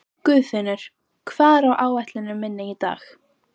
Guðfinnur, hvað er á áætluninni minni í dag?